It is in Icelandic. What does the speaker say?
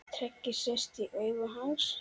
Tregi sest í augu hans.